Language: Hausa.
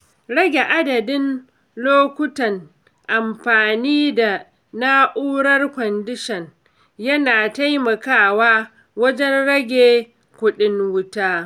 Rage adadin lokutan amfani da na’urar kwandishan yana taimakawa wajen rage kuɗin wuta.